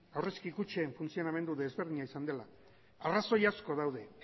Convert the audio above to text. aurrezki kutxen funtzionamendua desberdina izan dela arrazoi asko daude